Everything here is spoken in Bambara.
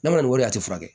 Ne ma nin wari a tɛ furakɛ